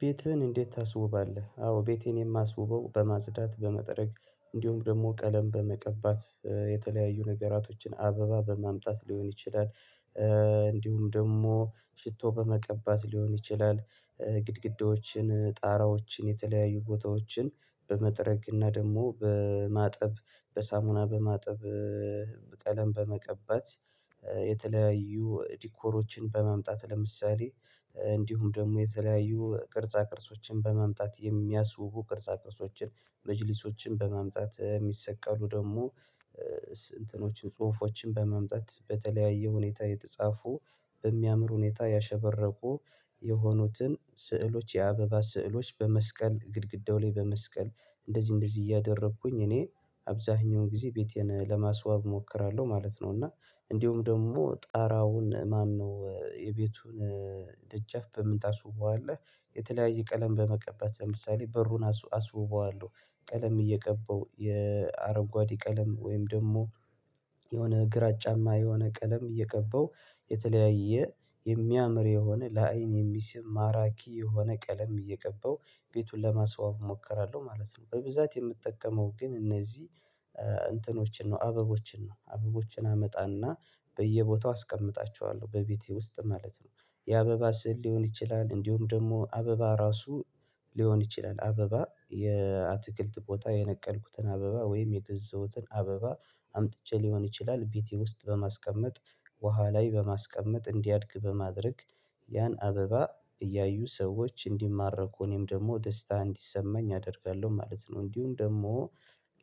ቤትህን እንዴት ታስውባለህ? አዎ ቤቴን የማስውበው በማጽዳት በመጠረግ እንዲሁም ደግሞ ቀለም በመቀባት የተለያዩ ነገራቶችን አበባ በማምጣት ሊሆን ይችላል እንዲሁም ደግሞ ሽቶ በመቀባት ሊሆን ይችላል። ግድግዳዎችን ጣራዎችን የተለያዩ ቦታዎችን በመጥረግ እና ደግሞ በማጠብ በሳሙና በማጠብ ቀለም በመቀባት የተለያዩ ዲኮሮችን በማምጣት ለምሳሌ እንዲሁም ደግሞ የተለያዩ ቅርጻ ቅርጾችን በማምጣት የሚያስውቡ ቅርጻ ቅርጾችን መጅሊሶችን በማምጣት የሚሰቀሉ ደግሞ እንትኖችን ጽሁፎችን በመምጣት በተለያየ ሁኔታ የተጻፉ በሚያምር ሁኔታ ያሸበረቁ የሆኑትን ስዕሎች የአበባ ስዕሎች በመስቀል ግድግዳው ላይ በመስቀል እንደዚህ እንደዚህ እያደረኩኝ እኔ አብዛኛውን ጊዜ ቤቴን ለማስዋብ እሞክራለሁ ማለት ነው። እና እንዲሁም ደግሞ ጣራውን ማነው የቤቱን ደጃፍ በምን ታስውበዋለህ? የተለያየ ቀለም በመቀባት ለምሳሌ በሩን አስውበዋለሁ ቀለም እየቀባው የአረጓዴ ቀለም ወይም ደግሞ የሆነ ግራጫማ የሆነ ቀለም እየቀባው የተለያየ የሚያምር የሆነ ለአይን የሚስብ ማራኪ የሆነ ቀለም እየቀባው ቤቱን ለማስዋብ እሞክራለሁ ማለት ነው። በብዛት የምጠቀመው ግን እነዚህ እንትኖችን ነው አበቦችን ነው አበቦችን አመጣና በየቦታው አስቀምጣቸዋለሁ በቤቴ ውስጥ ማለት ነው የአበባ ስዕል ሊሆን ይችላል እንዲሁም ደግሞ አበባ ራሱ ሊሆን ይችላል አበባ የአትክልት ቦታ የነቀልኩትን አበባ ወይም የገዛውትን አበባ አምጥቼ ሊሆን ይችላል ቤቴ ውስጥ በማስቀመጥ ውሃ ላይ በማስቀመጥ እንዲያድግ በማድረግ ያን አበባ እያዩ ሰዎች እንዲማረኩ እኔም ደግሞ ደስታ እንዲሰማኝ አደርጋለሁ ማለት ነው። እንዲሁም ደግሞ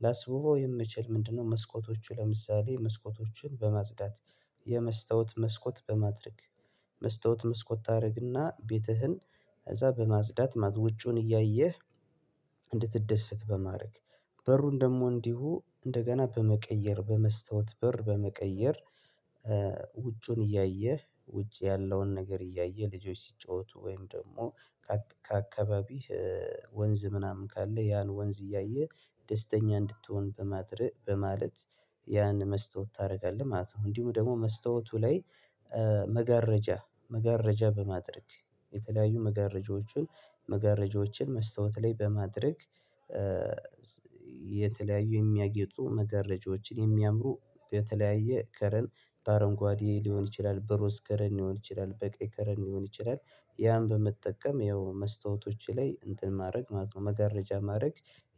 ላስውበው የምችል ምንድነው? መስኮቶቹ ለምሳሌ መስኮቶቹን በማጽዳት የመስታወት መስኮት በማድረግ መስታወት መስኮት ታደርግና ቤትህን እዛ በማጽዳት ውጩዉን እያየህ እንድትደሰት በማድረግ በሩን ደግሞ እንዲሁ እንደገና በመቀየር በመስታወት በር በመቀየር ውጩን እያየህ ውጭ ያለውን ነገር እያየህ ልጆች ሲጫወቱ ወይም ደግሞ ከአካባቢህ ወንዝ ምናምን ካለ ያን ወንዝ እያየ ደስተኛ እንድትሆን በማድረግ በማለት ያን መስታወት ታደርጋለህ ማለት ነው። እንዲሁም ደግሞ መስታወቱ ላይ መጋረጃ መጋረጃ በማድረግ የተለያዩ መጋረጃዎቹን መስታወት ላይ በማድረግ የተለያዩ የሚያጌጡ መጋረጃዎችን የሚያምሩ በተለያየ ከለር በአረንጓዴ ሊሆን ይችላል በሮስ ከለር ሊሆን ይችላል በቀይ ከለር ሊሆን ይችላል ያን በመጠቀም ያው መስታወቶች ላይ እንትን ማድረግ መስታወት መጋረጃ ማድረግ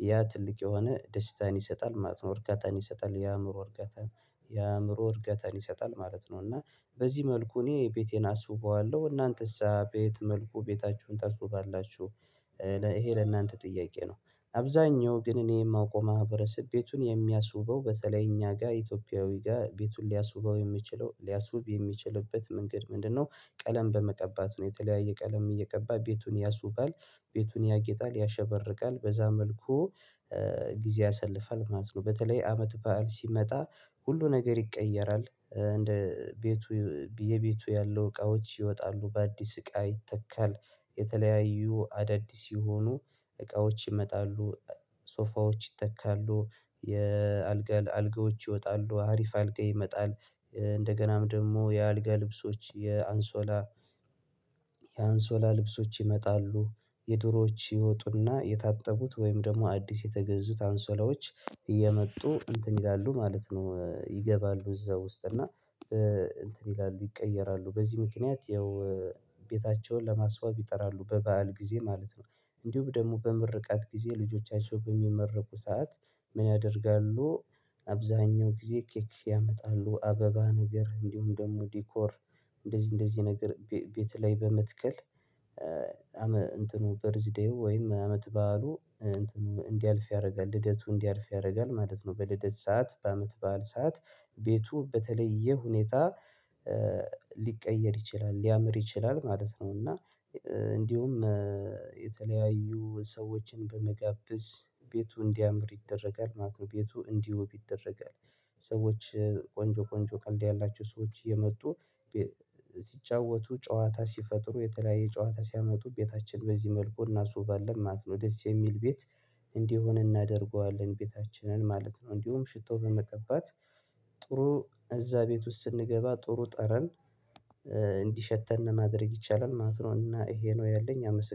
ያ ትልቅ የሆነ ደስታን ይሰጣል ማለት ነው። እርካታን ይሰጣል የአእምሮ እርካታን የአእምሮ እርጋታን ይሰጣል ማለት ነው። እና በዚህ መልኩ እኔ ቤቴን አስወበዋለሁ እናንተስ ቤት መልኩ ቤታችሁን ታስዉባላችሁ? ይሄ ለእናንተ ጥያቄ ነው። አብዛኛው ግን እኔ የማውቀው ማህበረሰብ ቤቱን የሚያስውበው በተለይ እኛ ጋር ኢትዮጵያዊ ጋር ቤቱን ሊያሱበው የሚችለው ሊያሱብ የሚችልበት መንገድ ምንድነው? ቀለም በመቀባት ነው የተለያየ ቀለም እየቀባ ቤቱን ያሱባል ቤቱን ያጌጣል ያሸበርቃል በዛ መልኩ ጊዜ ያሰልፋል ማለት ነው። በተለይ አመት በዓል ሲመጣ ሁሉ ነገር ይቀየራል እንደ ቤቱ የቤቱ ያለው እቃዎች ይወጣሉ በአዲስ እቃ ይተካል የተለያዩ አዳዲስ የሆኑ እቃዎች ይመጣሉ ሶፋዎች ይተካሉ የአልጋ አልጋዎች ይወጣሉ አሪፍ አልጋ ይመጣል እንደገናም ደግሞ የአልጋ ልብሶች የአንሶላ ልብሶች ይመጣሉ የድሮዎች ይወጡና የታጠቡት ወይም ደግሞ አዲስ የተገዙት አንሶላዎች እየመጡ እንትን ይላሉ ማለት ነው። ይገባሉ እዛ ውስጥ እና እንትን ይላሉ ይቀየራሉ በዚህ ምክንያት ያው ቤታቸውን ለማስዋብ ይጥራሉ በበዓል ጊዜ ማለት ነው። እንዲሁም ደግሞ በምርቃት ጊዜ ልጆቻቸው በሚመረቁ ሰዓት ምን ያደርጋሉ? አብዛኛው ጊዜ ኬክ ያመጣሉ አበባ ነገር እንዲሁም ደግሞ ዲኮር እንደዚህ እንደዚህ ነገር ቤት ላይ በመትከል እንትኑ በርዝዴው ወይም አመት በዓሉ እንትኑ እንዲያልፍ ያደርጋል ልደቱ እንዲያልፍ ያደርጋል ማለት ነው። በልደት ሰዓት በአመት በዓል ሰዓት ቤቱ በተለየ ሁኔታ ሊቀየር ይችላል ሊያምር ይችላል ማለት ነው። እና እንዲሁም የተለያዩ ሰዎችን በመጋበዝ ቤቱ እንዲያምር ይደረጋል ማለት ነው ቤቱ እንዲውብ ይደረጋል። ሰዎች ቆንጆ ቆንጆ ቀልድ ያላቸው ሰዎች እየመጡ ሲጫወቱ ጨዋታ ሲፈጥሩ የተለያየ ጨዋታ ሲያመጡ ቤታችን በዚህ መልኩ እና እሱባለን ማለት ነው ደስ የሚል ቤት እንዲሆን እናደርገዋለን ቤታችንን ማለት ነው። እንዲሁም ሽቶ በመቀባት ጥሩ እዛ ቤት ውስጥ ስንገባ ጥሩ ጠረን እንዲሸተን ማድረግ ይቻላል ማለት ነው። እና ይሄ ነው ያለኝ አመሰ